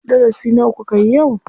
Darasi nawa kukayi yau?